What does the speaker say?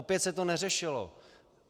Opět se to neřešilo.